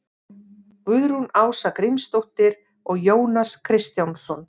Guðrún Ása Grímsdóttir og Jónas Kristjánsson.